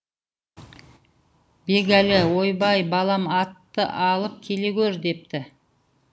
бегәлі ойбай балам атты алып келе гөр депті